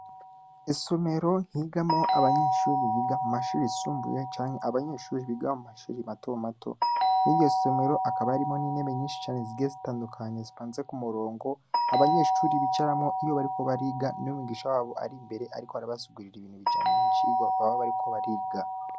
Esomero nkigamo abanyeshuri biga mu mashuri isumbuye canke abanyeshuri biga mu mashuri mato mato mwigio somero akaba yarimo n'inebe nyinshi cane sige zitandukanye sipanze ku murongo abanyeshuri bicaramwo iyo bariko bariga n'mugisha wabo ari imbere, ariko arabasugurira ibintu bijanye incirwa baba bariko bariga.